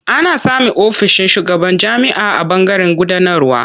Ana samun ofishin shugaban jami'a a ɓangaren gudanarwa.